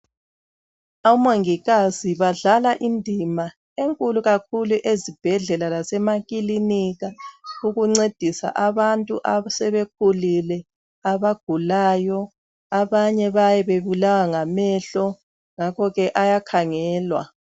Omongikazi badlala indima enkulu kakhulu ezibhedlela lasemakilinika ukuncediswa abantu asebekhulile, abagulayo . Abanye bayabe bebulawa ngamehlo, ngakho ke ayakhangelwa.